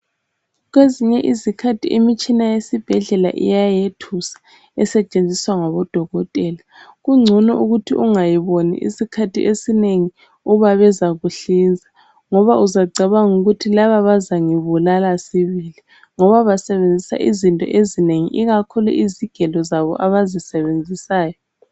Kwezinye izikhathi imitshina yesibhedlela iyayethusa, esetshenziswa ngabodokotela. Kungcono ukuthi ungayiboni isikhathi esinengi uba bezakuhlinza ngoba uzacabanga ukuthi laba bazangibulala sibili ngoba basebenzisa izinto ezinengi ikakhulu izigelo zabo abazisebenzisayo.